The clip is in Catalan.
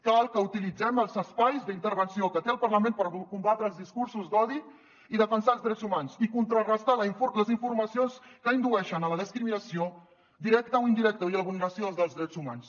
cal que utilitzem els espais d’intervenció que té el parlament per combatre els discursos d’odi i defensar els drets humans i contrarestar les informacions que indueixen a la discriminació directa o indirecta i a la vulneració dels drets humans